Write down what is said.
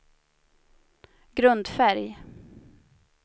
grundfärg